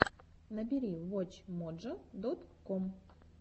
набери вотч моджо дот ком